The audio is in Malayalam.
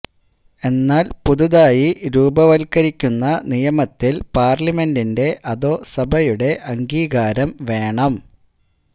എന്നാല് പുതുതായി രൂപവത്കരിക്കുന്ന നിയമത്തില് പാര്ലമെന്റിന്റെ അധോ സഭയുടെ അംഗീകാരം വേണം